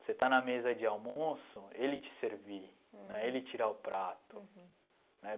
Você está na mesa de almoço, ele te servir né, ele tirar o prato né.